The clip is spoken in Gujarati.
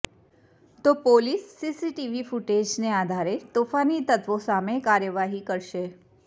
તો પોલીસ સીસીટીવી ફૂટેજને આધારે તોફાની તત્વો સામે કાર્યવાહી કરશે